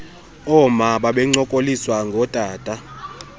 ooma babencokoliswa ngootata